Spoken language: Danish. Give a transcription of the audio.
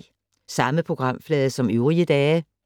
Samme programflade som øvrige dage